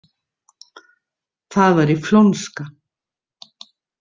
Það væri flónska.